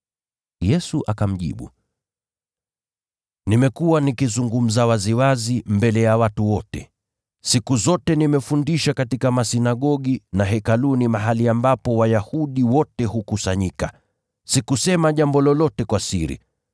Yesu akamjibu, “Nimekuwa nikizungumza waziwazi mbele ya watu wote. Siku zote nimefundisha katika masinagogi na Hekaluni, mahali ambapo Wayahudi wote hukusanyika. Sikusema jambo lolote kwa siri.